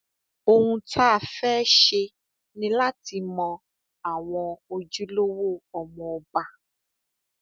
ohun tá a fẹẹ ṣe ni láti mọ àwọn ojúlówó ọmọọba